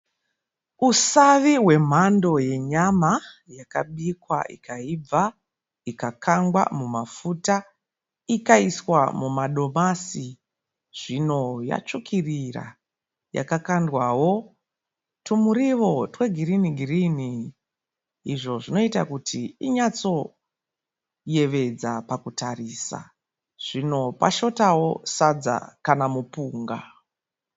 Usavi hwemhando yenyama yakabikwa ikaibva, ikakangwa mumafuta, ikaiswa mumadomasi. Zvino yatsvukirira yakakandwao tumirio twegirini girini izvo zvinoita kuti inyatsoyevedza pakutarisa. Zvino pashotao sadza kana mupunga.